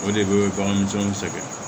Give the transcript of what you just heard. O de bɛ bagan misɛnw sɛgɛn